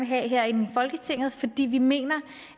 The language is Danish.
have herinde i folketinget fordi vi mener